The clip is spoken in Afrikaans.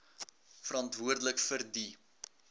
verantwoordelik vir die